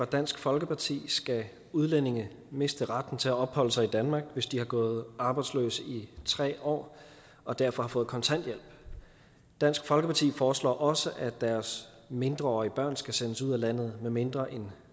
dansk folkeparti skal udlændinge miste retten til at opholde sig i danmark hvis de har gået arbejdsløse i tre år og derfor har fået kontanthjælp dansk folkeparti foreslår også at deres mindreårige børn skal sendes ud af landet medmindre en